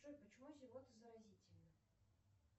джой почему зевота заразительна